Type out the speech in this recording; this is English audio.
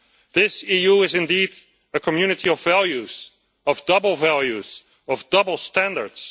This EU is indeed a community of values of double values and double standards.